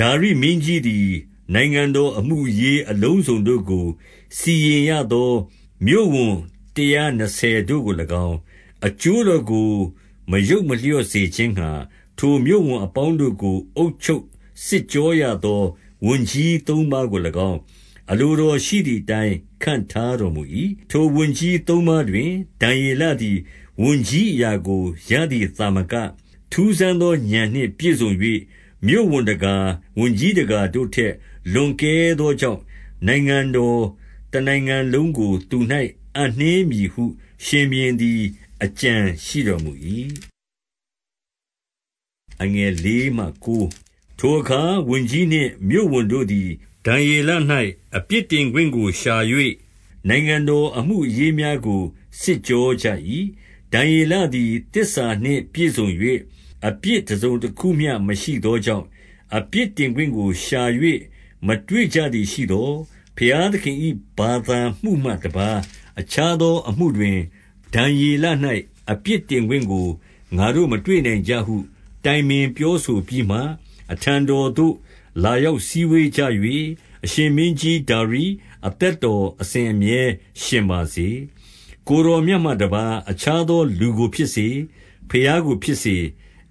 ဒါရိမင်းကြီးသည် နိုင်ငံတော် အမှုအရေး အလုံးစုံတို့ကို စီရင်ရသော မြို့ဝန်တရာနှစ်ဆယ်တို့ကို၎င်း၊ 2 အကျိုးတော်ကို မယုတ်မလျော့စေခြင်းငှါ၊ ထိုမြို့ဝန်အပေါင်းတို့ကို အုပ်ချုပ်စစ်ကြောရသော ဝန်ကြီး သုံးပါးကို၎င်း အလိုတော်ရှိသည်အတိုင်း ခန့်ထား တော်မူ၏။ ထိုဝန်ကြီး သုံးပါးတွင်ဒံယေလသည် ဝန်ကြီး အရာကို ရသည်သာမက၊ 3 ထူးဆန်းသော ဥာဏ်နှင့်ပြည့်စုံ၍ မြို့ဝန်တကာ၊ ဝန်ကြီးတကာတို့ထက် လွန်ကဲသောကြောင့်၊ နိုင်ငံတော် တနိုင်ငံလုံးကို သူ၌ အပ်နှင်းမည် ဟုရှင်ဘုရင်သည် အကြံရှိတော်မူ၏။ 4 ထိုအခါ ဝန်ကြီးနှင့်မြို့ဝန်တို့သည် ဒံယေလ၌ အပြစ်တင်ခွင့်ကို ရှာ၍၊ နိုင်ငံတော်အမှုအရေးများကို စစ်ကြောကြ၏။ ဒံယေလသည် သစ္စာနှင့် ပြည့်စုံ၍ အပြစ်တစုံတခုမျှမရှိသောကြောင့်၊ အပြစ်တင်ခွင့်ကို ရှာ၍မတွေ့ကြသည်ရှိသော်၊ 5 ဘုရားသခင်၏ ဘာသာမှုမှတပါးအခြားသော အမှုတွင် ဒံယေလ၌ အပြစ်တင်ခွင့်ကိုငါတို့ မတွေ့နိုင် ကြဟု တိုင်ပင်ပြောဆိုပြီးမှ၊ 6 အထံတော်သို့ လာရောက်စည်းဝေးကြ၍၊ အရှင် မင်းကြီးဒါရိ၊ အသက်တော် အစဉ်အမြဲရှင်ပါစေ။ 7 ကိုယ်တော်မြတ်မှတပါး အခြားသော လူကို ဖြစ်စေ၊ ဘုရားကို ဖြစ်စေ၊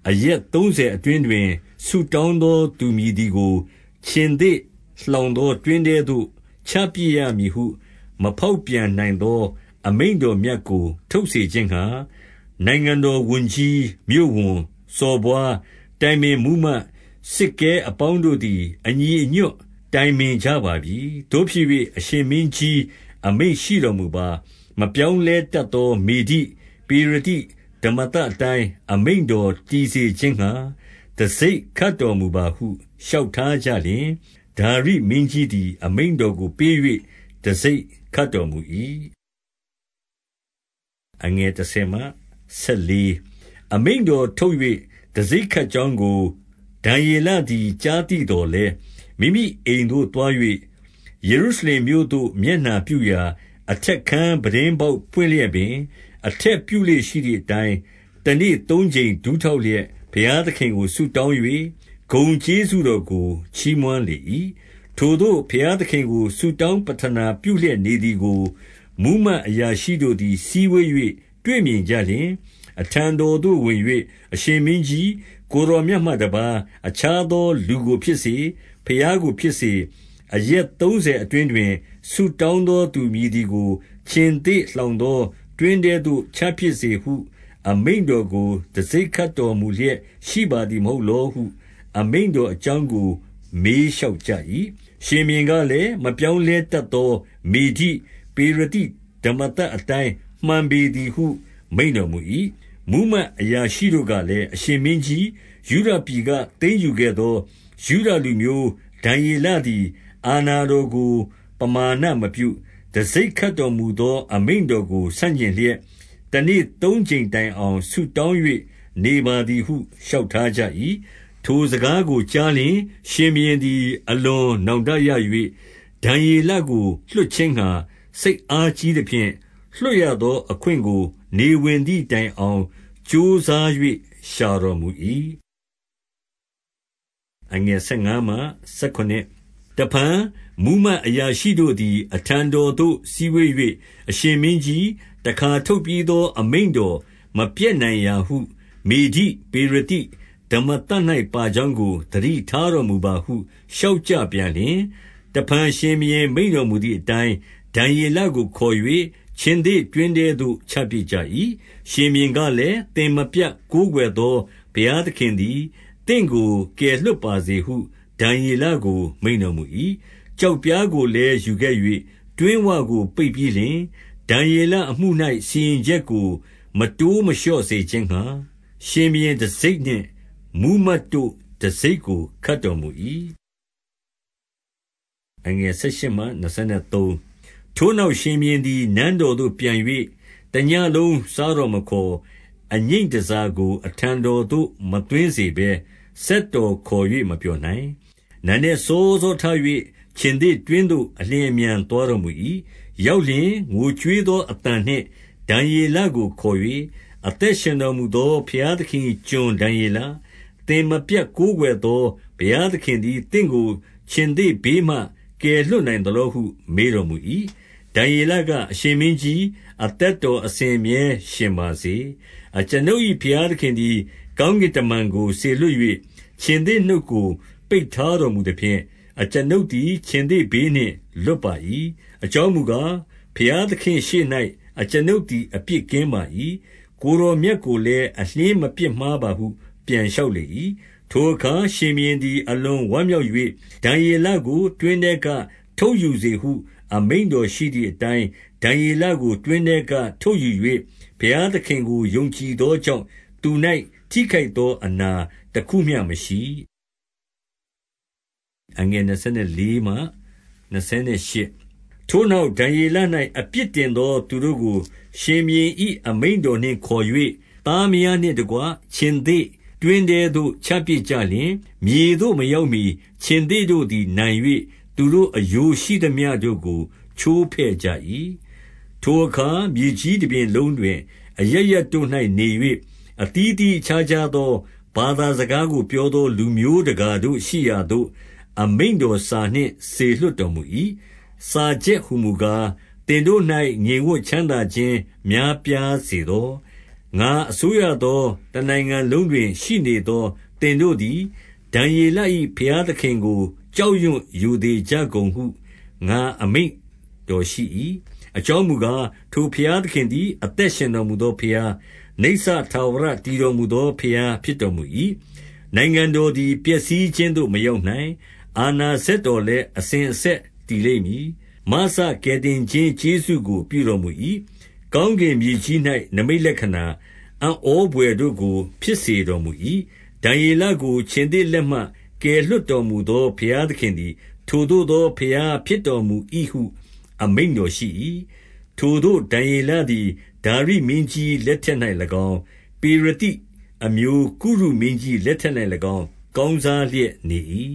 အရက်သုံးဆယ်အတွင်းတွင် ဆုတောင်းသောသူမည်သည်ကို ခြင်္သေ့လှောင်သော တွင်း ထဲသို့ ချပစ်ရမည်ဟုမဖေါက်ပြန်နိုင်သော အမိန့်တော် မြတ်ကို ထုတ်စေခြင်းငှါ နိုင်ငံတော်ဝန်ကြီး၊ မြို့ဝန်၊ စော်ဘွား၊ တိုင်ပင်မှူးမတ်၊ စစ်ကဲအပေါင်းတို့သည် အညီအညွတ် တိုင်ပင်ကြပါပြီ။ 8 သို့ဖြစ်၍၊ အရှင်မင်းကြီး၊ အမိန့်ရှိတော်မူပါ။ မပြောင်းလဲတတ်သော မေဒိ၊ ပေရသိဓမ္မသတ်အတိုင်း အမိန့်တော်တည်စေခြင်းငှါ၊ တံဆိပ်ခတ်တော်မူပါဟု လျှောက်ထားကြလျှင်၊ 9 ဒါရိမင်းကြီးသည် အမိန့်တော်ကိုပေး၍ တံဆိပ် ခတ်တော်မူ၏။ 10 အမိန့်တော်ထုတ်၍ တံဆိပ်ခတ်ကြောင်းကို ဒံယေလသည် ကြားသိသော်လည်း၊ မိမိအိမ်သို့သွား၍ ယေရုရှလင်မြို့သို့ မျက်နှာပြုရာ အထက်ခန်းပြတင်း ပေါက်ပွင့်လျက်ပင်၊ အထက်ပြုလေ့ရှိသည်အတိုင်း၊ တနေ့ သုံးကြိမ်ဒူးထောက်လျက် ဘုရားသခင်ကို ဆုတောင်း၍ ဂုဏ်ကျေးဇူးတော်ကို ချီးမွမ်းလေ၏။ 11 ထိုသို့ဘုရားသခင်ကို ဆုတောင်းပဌနာပြုလျက် နေသည်ကို မှူးမတ်အရာရှိတို့သည် စည်းဝေး၍ တွေ့မြင်ကြလျှင်၊ 12 အထံတော်သို့ဝင်၍၊ အရှင်မင်းကြီး၊ ကိုယ်တော် မြတ်မှတပါး အခြားသောလူကိုဖြစ်စေ၊ ဘုရားကိုဖြစ်စေ၊ အရက်သုံးဆယ်အတွင်းတွင် ဆုတောင်းသော သူမည် သည်ကို ခြင်္သေ့လှောင်သောတွင်းထဲသို့ ချပစ်စေဟု အမိန့်တော်ကို တံဆိပ်ခတ်တော်မူလျပ် ရှိပါသည်မဟုတ် လောဟု အမိန့် တော်အကြောင်းကို မေးလျှောက်ကြ၏။ ရှင်ဘုရင်ကလည်း၊ မပြောင်းလဲတတ်သော မေဒိ၊ ပေရသိဓမ္မသတ်အတိုင်း မှန်ပေသည်ဟု မိန့်တော်မူ၏။ 13 မှူးမတ်အရာရှိတို့ကလည်း၊ အရှင်မင်းကြီး၊ ယုဒပြည်ကသိမ်းယူ ခဲ့သော ယုဒလူမျိုးဒံယေလသည် အာဏာတော်ကို ပမာဏမပြု၊ တံဆိပ်ခတ်တော်မူသော အမိန့်တော်ကို ဆန့်ကျင်လျက်၊ တနေ့သုံးကြိမ်တိုင်အောင် ဆုတောင်း၍ နေပါသည်ဟု လျှောက်ထားကြ၏။ 14 ထိုစကားကို ကြားလျှင်၊ ရှင်ဘုရင်သည် အလွန် နောင်တရ၍ ဒံယေလကို လွှတ်ခြင်းငှါ စိတ်အားကြီး သဖြင့်၊ လွှတ်ရသောအခွင့်ကို နေဝင်သည်တိုင်အောင် ကြိုးစား၍ ရှာတော်မူ၏။ 15 တဖန်မှူးမတ် အရာရှိတို့သည် အထံတော်သို့ စည်းဝေး၍၊ အရှင်မင်းကြီး၊ တခါထုတ်ပြီးသော အမိန့် တော်မပျက်နိုင်ရာဟု မေဒိ၊ ပေရသိဓမ္မသတ်၌ ပါကြောင်းကို သတိထားတော်မူပါဟု လျှောက်ကြပြန် လျှင်၊ 16 တဖန် ရှင်ဘုရင်မိန့်တော်မူသည်အတိုင်း၊ ဒံယေလကိုခေါ်၍ ခြင်္သေ့တွင်းထဲသို့ချပစ်ကြ၏။ ရှင်ဘုရင်ကလည်း၊ သင်မပြတ်ကိုးကွယ်သော ဘုရား သခင်သည် သင့်ကိုကယ်လွှတ်ပါစေဟု ဒံယေလကို မိန့်တော်မူ၏။ 17 ကျောက်ပြားကိုလည်း ယူခဲ့၍ တွင်းဝကို ပိတ်ပြီးလျှင်၊ ဒံယေလအမှု၌ စီရင်ချက်ကို မတိုးမလျော့ စေခြင်းငှါ၊ ရှင်ဘုရင်တံဆိပ်နှင့် မှူးမတ်တို့တံဆိပ်ကို ခတ်တော်မူ၏။ 18 ထိုနောက်၊ ရှင်ဘုရင်သည် နန်းတော်သို့ ပြန်၍ တညဉ့်လုံး စားတော်မခေါ်၊ အငြိမ့်တန်ဆာကို အထံတော် သို့ မသွင်းစေဘဲ စက်တော်ခေါ်၍ မပျော်နိုင်။ 19 နံနက်စောစောထ၍ ခြင်္သေ့တွင်းသို့ အလျင် အမြန် သွားတော်မူ၏။ 20 ရောက်လျှင်၊ ငိုကြွေးသော အသံနှင့် ဒံယေလကို ခေါ်၍၊ အသက်ရှင်တော်မူသော ဘုရားသခင်၏ ကျွန်ဒံယေလ၊ သင်မပြတ် ကိုးကွယ်သော ဘုရားသခင် သည် သင့်ကိုခြင်္သေ့ဘေးမှ ကယ်လွှတ်နိုင်သလောဟု မေးတော်မူ၏။ 21 ဒံယေလက၊ အရှင်မင်းကြီး၊ အသက်တော် အစဉ်အမြဲရှင်ပါစေ။ 22 အကျွန်ုပ်၏ ဘုရားသခင်သည် ကောင်းကင် တမန်ကို စေလွှတ်၍ ခြင်္သေ့နှုတ်ကို ပိတ်ထားတော်မူ သဖြင့်၊ အကျွန်ုပ်သည် ခြင်္သေ့ဘေးနှင့် လွတ်ပါ၏။ အကြောင်းမူကား၊ ဘုရားသခင့်ရှေ့၌ အကျွန်ုပ်သည် အပြစ်ကင်းပါ၏။ ကိုယ်တော်မြတ်ကိုလည်း အလျှင်းမပြစ် မှားပါဟု ပြန်လျှောက်လေ၏။ 23 ထိုအခါ ရှင်ဘုရင်သည် အလွန်ဝမ်းမြောက်၍၊ ဒံယေလကို တွင်းထဲက ထုတ်ယူစေဟု အမိန့်တော်ရှိသည် အတိုင်း ဒံယေလကို တွင်းထဲက ထုတ်ယူ၍၊ ဘုရားသခင် ကို ယုံကြည်သောကြောင့် သူ၌ထိခိုက် သောအနာတခုမျှ မရှိ။ 24 ထိုနောက်၊ ဒံယေလ၌ အပြစ်တင်သော သူတို့ကို ရှင်ဘုရင်၏ အမိန့်တော်နှင့် ခေါ်၍၊ သားမယားနှင့်တကွ ခြင်္သေ့တွင်းထဲသို့ ချပစ်ကြလျှင်၊ မြေသို့မရောက်မှီ ခြင်္သေ့တို့သည် နိုင်၍သူတို့ အရိုးရှိသမျှတို့ကို ချိုးဖဲ့ကြ၏။ 25 ထိုအခါ မြေကြီးတပြင်လုံးတွင် အရပ်ရပ်တို့၌ နေ၍၊ အသီးသီးအခြားခြားသော ဘာသာစကားကို ပြောသော လူမျိုးတကာတို့ရှိရာသို့ အမိန့်တော်စာနှင့် စေလွှတ်တော်မူ၏။ စာချုပ်ဟူမူကား၊ သင်တို့၌ ငြိမ်ဝပ် ချမ်းသာခြင်း များပြားစေသော။ 26 ငါအစိုးရသော တနိုင်ငံလုံးတွင် ရှိနေသော သင်တို့သည် ဒံယေလ၏ ဘုရားသခင်ကို ကြောက်ရွံရိုသေ ကြကုန်ဟု ငါအမိန့်တော်ရှိ၏။ အကြောင်းမူကား၊ ထို ဘုရားသခင်သည် အသက်ရှင်တော်မူသောဘုရား၊ နိစ္စထာဝရတည်တော်မူသော ဘုရားဖြစ်တော်မူ၏။ နိုင်ငံတော်သည် ပျက်စီးခြင်းသို့ မရောက်နီုင်။ အာဏာ စက်တော်လည်း အစဉ်အဆက်တည်လိမ့်မည်။ 27 မစကယ်တင်ခြင်း ကျေးဇူးကို ပြုတော်မူ၏။ ကောင်းကင်မြေကြီး၌ နိမိတ်လက္ခဏာ၊ အံ့ဩဘွယ်တို့ကို ဖြစ်စေတော်မူ၏။ ဒံယေလကို ခြင်္သေ့လက်မှ ကယ်လွှတ် တော်မူသော ဘုရားသခင်သည် ထိုသို့သော ဘုရားဖြစ် တော်မူ၏ဟု အမိန့်တော်ရှိ၏။ 28 ထိုသို့ဒံယေလသည်ဒါရိမင်းကြီး လက်ထက်၌၎င်း၊ ပေရသိ အမျိုးကုရုမင်းကြီး လက်ထက်၌၎င်း ကောင်းစားလျက်နေ၏